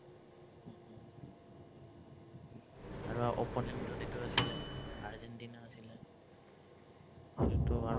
আৰু opponent ত এইটো আছিলে, আৰ্জেন্টিনা আছিলে সেইটোতো আৰু